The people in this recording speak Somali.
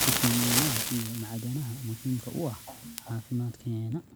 fiitamiinnada, iyo macdanaha muhiimka u ah caafimaadkeenna.